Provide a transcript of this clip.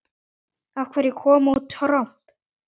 Af hverju kom út tromp?